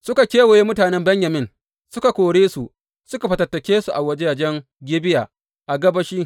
Suka kewaye mutanen Benyamin, suka kore su, suka fatattake su a wajajen Gibeya a gabashi.